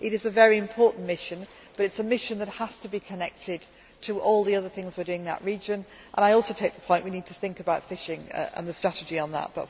It is a very important mission, but it is a mission that has to be connected to all the other things we are doing in that region. I also take the point that we need to think about fishing and the strategy on